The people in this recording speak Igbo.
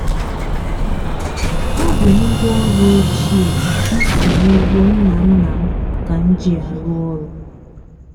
ọ bụ ngwaọrụ ochie m si n'ugbo nna nna m ka m ji arụ ọrụ.